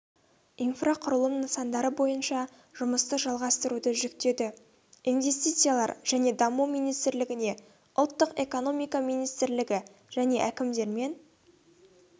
инфрақұрылым нысандары бойынша жұмысты жалғастыруды жүктеді инвестициялар және даму министрлігіне ұлттық экономика министрлігі және әкімдермен